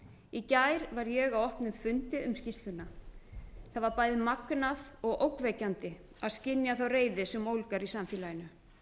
í gær var ég á opnum fundi um skýrsluna það var bæði magnað og ógnvekjandi að skynja þá reiði sem ólgar í samfélaginu